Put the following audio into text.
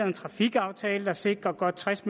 en trafikaftale der sikrer godt tres